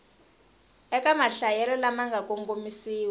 eka mahlayelo lama nga kongomisiwa